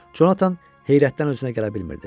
Conatan heyrətdən özünə gələ bilmirdi.